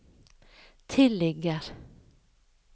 tilligger